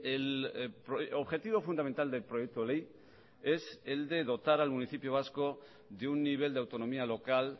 el objetivo fundamental del proyecto ley es el de dotar al municipio vasco de un nivel de autonomía local